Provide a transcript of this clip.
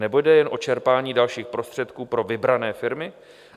Nebo jde jen o čerpání dalších prostředků pro vybrané firmy?